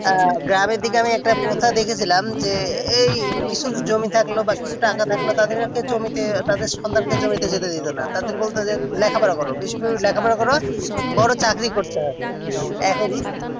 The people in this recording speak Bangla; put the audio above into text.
গ্রামের দিকে আমি একটা প্রথা দেখেছিলাম যে এই কিছু জমি থাকলো বা কিছু টাকা থাকলে তাদের একটা জমিতে তাদের সন্তান কে জমিতে যেতে দিতো না তাদের বলতো যে লেখা পড়া করো বেশি করে লেখা পড়া করো বড়ো চাকরি করতে হবে এখন